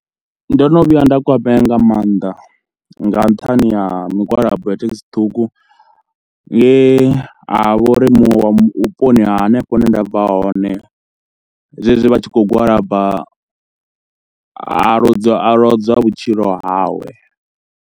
Ndo no vhuya nda kwamea nga maanḓa nga nṱhani ha migwalabo ya thekhisi ṱhukhu nge ha vha uri muṅwe wa vhuponi ha hanefho hune nda bva hone zwezwi vha tshi khou gwalaba a ludzwa a lodzwa vhutshilo hawe.